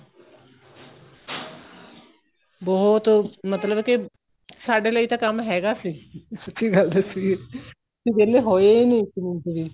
ਬਹੁਤ ਮਤਲਬ ਕੇ ਸਾਡੇ ਲਈ ਤਾਂ ਕੰਮ ਹੈਗਾ ਸੀ ਸੱਚੀ ਗੱਲ ਦੱਸੀਏ ਅਸੀਂ ਵਿਹਲੇ ਹੋਏ ਨਹੀਂ ਇੱਕ ਮਿੰਟ ਵੀ